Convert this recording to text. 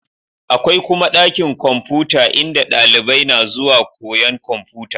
Akwai kuma ɗakin kwamfuta in da dalibai na zuwa koyan kwamfuta